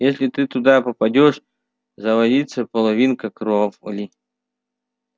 если ты туда попадёшь завалится половина кров ли